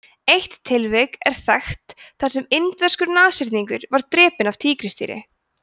eitt tilvik er þekkt þar sem indverskur nashyrningur var drepinn af tígrisdýri